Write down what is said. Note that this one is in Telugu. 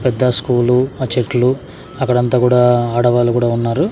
పెద్ద స్కూలు ఆ చెట్లు అక్కడ అంతా కూడా ఆడవాళ్లు కూడా ఉన్నారు.